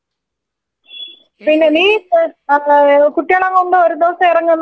പിന്നെ നീ ഇപ്പോ ഏ കുട്ടിയാളേം കൊണ്ട് ഒരു ദിവസം എറങ്ങ് നമുക്ക് പോകാ ഒരുമിച്ചു പോകാ.